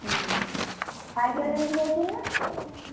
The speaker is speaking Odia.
ହୁଁ, cycle ନେଇକି ଯାଇଥିଲୁ ନା?